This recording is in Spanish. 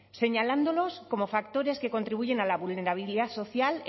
señalándonos como factores que contribuyen a la vulnerabilidad social